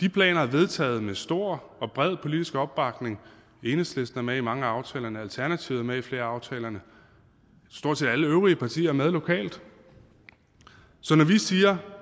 de planer er vedtaget med stor og bred politisk opbakning enhedslisten er med i mange af aftalerne alternativet er med i flere af aftalerne stort set alle øvrige partier er med lokalt så når